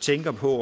tænker på